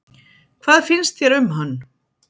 Hvað finnst þér um hann?